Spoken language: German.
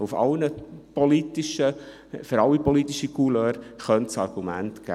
für alle politischen Couleurs könnte es Argumente geben.